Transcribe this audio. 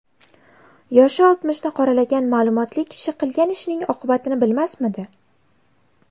Yoshi oltmishni qoralagan ma’lumotli kishi qilgan ishining oqibatini bilmasmidi?